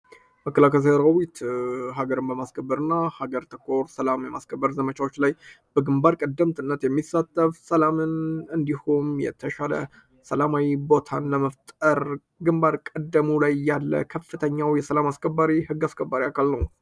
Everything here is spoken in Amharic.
መከላከያ ሰራዊት ሀገርን በማስከበር እና ሀገር ተኮር ሰላም የማስከበር ዘመቻዎች ላይ በግንባር ቀደምትነት የሚሳተፍ ሰላምን እንዲሆም የተሻለ ሰላማዊ ቦታን ለመፍጠር ግንባር ቀደሙ ላይ ያለ ከፍተኛው የሰላም አስከባሪ ሕግ አስከባሪ አካል ነው።